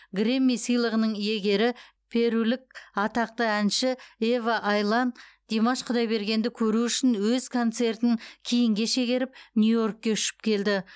грэмми сыйлығының иегері перулік атақты әнші ева айлан димаш құдайбергенді көру үшін өз концертін кейінге шегеріп нью йоркке ұшып келді